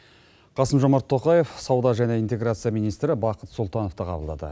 қасым жомарт тоқаев сауда және интеграция министрі бақыт сұлтановты қабылдады